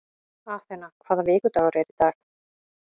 Athena, hvaða vikudagur er í dag?